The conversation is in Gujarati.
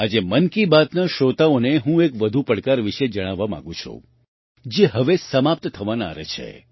આજે મન કી બાતના શ્રોતાઓને હું એક વધુ પડકાર વિશે જણાવવા માગું છું જે હવે સમાપ્ત થવાના આરે છે